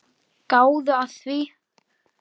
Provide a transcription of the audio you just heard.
Gáðu að því.